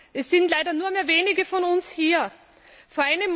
Es sind leider nur mehr wenige von uns anwesend.